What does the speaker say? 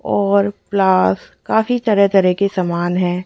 और प्लास काफी तरह तरह के समान है।